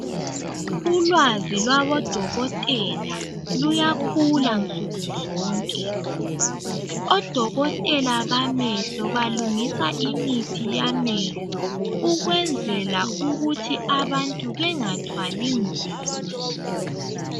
Ulwazi lwaboDokotela luyakhula nsukuzonke, oDokotela bamehlo balungisa imithi yamehlo, ukwenzela ukuthi abantu bengathwali nzima.